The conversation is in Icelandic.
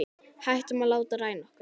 Hættum að láta ræna okkur.